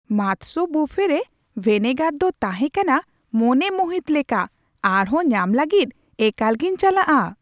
ᱢᱟᱛᱥᱚ ᱵᱩᱯᱷᱮ ᱨᱮ ᱵᱷᱮᱱᱮᱜᱟᱨ ᱫᱚ ᱛᱟᱦᱮᱸ ᱠᱟᱱᱟ ᱢᱚᱱᱮ ᱢᱩᱦᱤᱛ ᱞᱮᱠᱟ ! ᱟᱨᱦᱚᱸ ᱧᱟᱢ ᱞᱟᱹᱜᱤᱫ ᱮᱠᱟᱞ ᱜᱮᱧ ᱪᱟᱞᱟᱜᱼᱟ ᱾